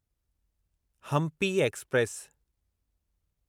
Hampi express